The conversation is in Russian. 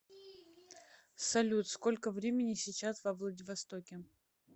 салют сколько времени сейчас во владивостоке